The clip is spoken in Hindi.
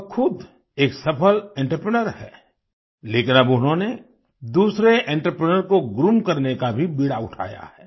वह खुद एक सफल एंटरप्रेन्योर हैं लेकिन अब उन्होंने दूसरे एंटरप्रेन्योर को ग्रूम करने का भी बीड़ा उठाया है